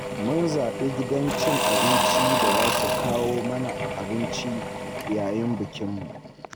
Mun zaɓi gidan cin abincin da za su kawo mana abinci a yayin bikinmu